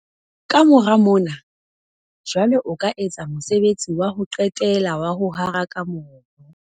Ka mora mona, jwale o ka etsa mosebetsi wa ho qetela wa ho haraka mobu.